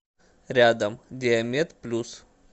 рядом диамед плюс